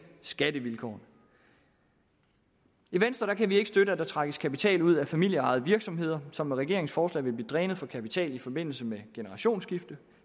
skattevilkårene i venstre kan vi ikke støtte at der trækkes kapital ud af familieejede virksomheder som med regeringens forslag vil blive drænet for kapital i forbindelse med et generationsskifte